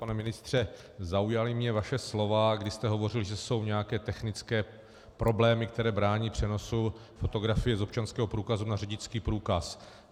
Pane ministře, zaujala mě vaše slova, kdy jste hovořil, že jsou nějaké technické problémy, které brání přenosu fotografie z občanského průkazu na řidičský průkaz.